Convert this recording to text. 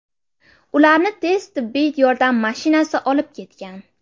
Ularni tez tibbiy yordam mashinasi olib ketgan.